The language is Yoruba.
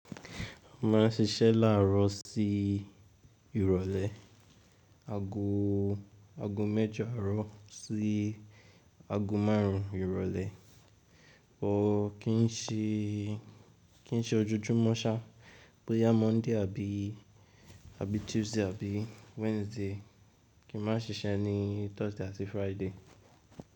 Máa ń ṣiṣẹ́ láàrọ́ sí ìrọ̀lẹ́. Ago, ago mẹ́jọ àárọ̀ sí ago márùn ìrọ̀lẹ́. Wò ó kí ń ṣe, kí ń ṣe ojoojúmọ́ ṣá, bóyá Monday àbí, àbí Tuesday àbí Wednesday, kí má ń ṣiṣẹ́ ní Thursday àti Friday.